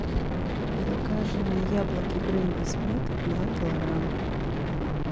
закажи мне яблоки гренни смит два килограмма